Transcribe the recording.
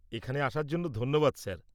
-এখানে আসার জন্য ধন্যবাদ স্যার।